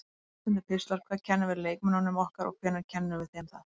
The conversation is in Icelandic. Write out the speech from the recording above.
Aðsendir pistlar Hvað kennum við leikmönnunum okkar og hvenær kennum við þeim það?